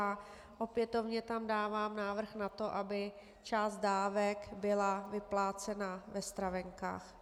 A opětovně tam dávám návrh na to, aby část dávek byla vyplácena ve stravenkách.